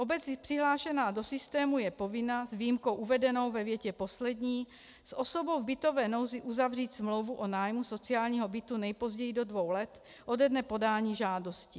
Obec přihlášená do systému je povinna, s výjimkou uvedenou ve větě poslední, s osobou v bytové nouzi uzavřít smlouvu o nájmu sociálního bytu nejpozději do dvou let ode dne podání žádosti.